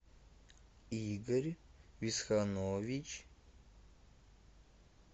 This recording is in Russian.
игорь висханович